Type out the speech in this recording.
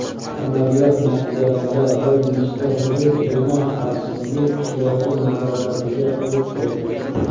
Amaliyot natijasida bir nechta hudud yana xavfsizlik kuchlari nazoratiga o‘tdi.